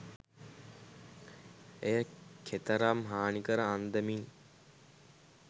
එය කෙතරම් හානිකර අන්දමින්